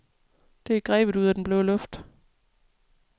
Det er grebet ud af den blå luft.